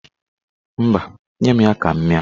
Mba, nye m ya ka m mịa.